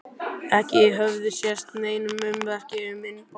Ekki höfðu sést nein ummerki um innbrot.